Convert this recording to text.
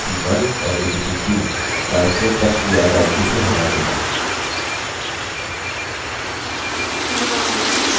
यह abc1 और abc2 files को testdir directory से हटा देगा